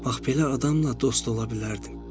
Bax belə adamla dost ola bilərdim.